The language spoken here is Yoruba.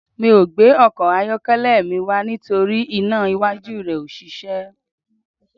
Mi ò gbé ọkọ̀ ayọ́kẹ́lẹ́ mi wá nítorí iná iwájú rẹ̀ ò ṣiṣẹ́ mọ́